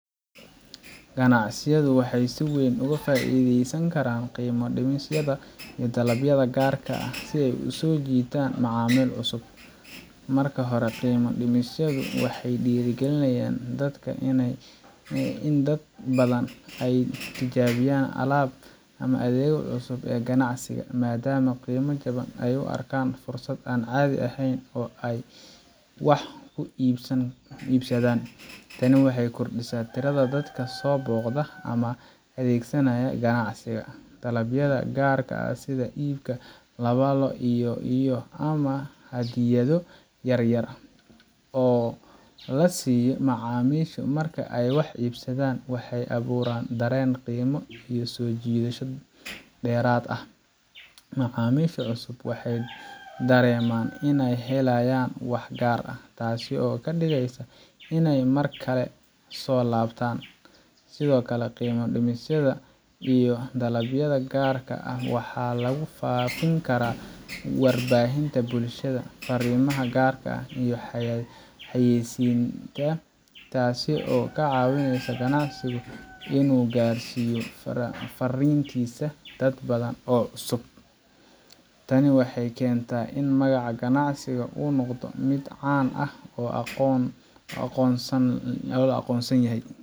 Ganacsiyadu waxay si weyn uga faa’iideysan karaan qiimo dhimisyada iyo dalabyada gaarka ah si ay u soo jiitaan macaamiil cusub. Marka hore, qiimo dhimisyadu waxay dhiirrigelinayan in dad badan ay tijaabiyaan alaabta ama adeegga cusub ee ganacsiga, maadaama qiimo jaban ay u arkaan fursad aan caadi ahayn oo ay wax ku iibsadaan. Tani waxay kordhisaa tirada dadka soo booqda ama adeegsanaya ganacsiga. Dalabyada gaarka ah sida iibka laba la iyo iyo ama hadiyado yar yar oo la siiyo macaamiisha marka ay wax iibsadaan waxay abuuraan dareen qiimo iyo soo jiidasho dheeraad ah. Macaamiisha cusub waxay dareemaan inay helayaan wax gaar ah, taasoo ka dhigaysa inay mar kale soo laabtaan. Sidoo kale, qiimo dhimisyada iyo dalabyada gaarka ah waxaa lagu faafin karaa warbaahinta bulshada, farriimaha gaarka ah, iyo xayaysiisyada, taasoo ka caawinaysa ganacsiga inuu gaarsiiyo fariintiisa dad badan oo cusub. Tani waxay keentaa in magac ganacsi uu noqdo mid caan ah oo la aqoonsan yahay.